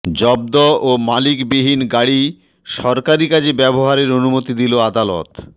জব্দ ও মালিকবিহীন গাড়ি সরকারি কাজে ব্যবহারের অনুমতি দিল আদালত